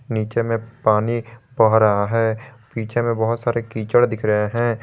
नीचे में पानी बह रहा है पीछे में बहुत सारे कीचड़ दिख रहे हैं।